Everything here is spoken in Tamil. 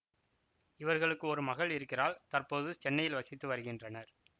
இவர்களுக்கு ஒரு மகள் இருக்கிறாள் தற்போது சென்னையில் வசித்து வருகின்றனர்